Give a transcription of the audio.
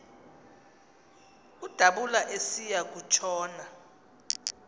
udabula esiya kutshona